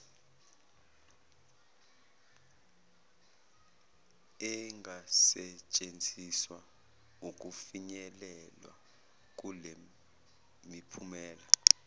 engasetshenziswa ukufinyelelwa kulemiphumela